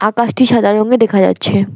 আকাশটি সাদা রঙের দেখা যাচ্ছে।